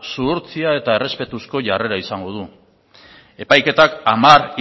zuhurtzia eta errespetuzko jarrera izango du epaiketak hamar